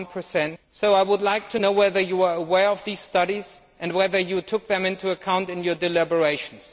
1. So I would like to know whether you were aware of these studies and whether you took them into account in your deliberations.